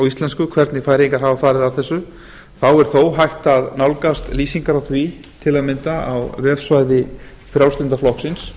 íslensku hvernig færeyingar hafa farið að þessu þá er þó hægt að nálgast lýsingar á því til að mynda á vefsvæði frjálslynda flokksins